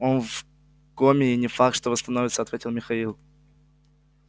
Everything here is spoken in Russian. он в коме и не факт что восстановится ответил михаил